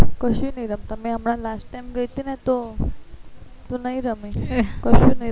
કશું એ નહી રમતા મેં હમણાં last time ગયી હતી તો તો નહિ રમી કશું શું નહી